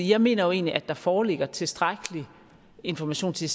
jeg mener jo egentlig at der foreligger tilstrækkelig information til